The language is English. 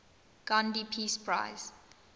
gandhi peace prize